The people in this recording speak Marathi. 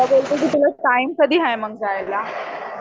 तुला वेळ तुला टाईम कधी आहे मग जायला?